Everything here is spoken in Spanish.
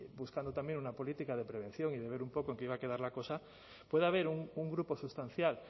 buscando también una política de prevención y de ver un poco en qué iba a quedar la cosa puede haber un grupo sustancial